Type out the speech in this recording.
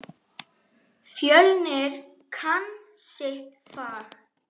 Fjölnir kann sitt fag.